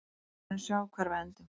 Við munum sjá hvar við endum.